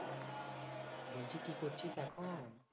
বলছি কি করছিস এখন?